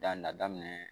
Dan na daminɛ